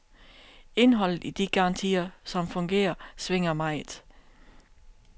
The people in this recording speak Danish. Indholdet i de garantier, som fungerer, svinger meget.